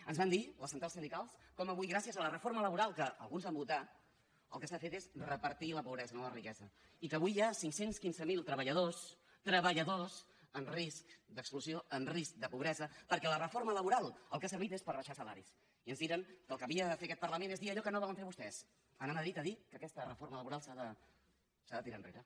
ens van dir les centrals sindicals com avui gràcies a la reforma laboral que alguns van votar el que s’ha fet és repartir la pobresa no la riquesa i que avui hi ha cinc cents i quinze mil treballadors treballadors en risc d’exclusió en risc de pobresa perquè la reforma laboral per al que ha servit és per abaixar salaris i ens digueren que el que havia de fer aquest parlament és allò que no volen fer vostès anar a madrid a dir que aquesta reforma laboral s’ha de tirar enrere